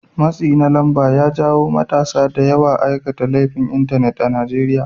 Matsin lamba ya jawo matasa da yawan aikata laifin Intanet a Najeriya